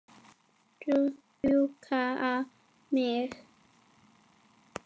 Rjúka á mig?